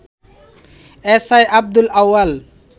SI Abdul Awal